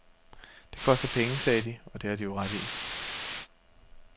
Det koster penge, sagde de, og det har de jo ret i.